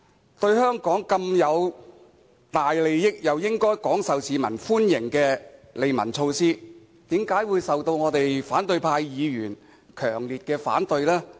這項對香港有這麼大好處，亦應該廣受市民歡迎的利民措施，為何會受到反對派議員強烈反對呢？